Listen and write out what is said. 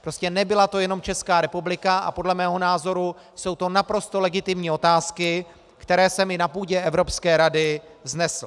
Prostě nebyla to jenom Česká republika a podle mého názoru jsou to naprosto legitimní otázky, které jsem i na půdě Evropské rady vznesl.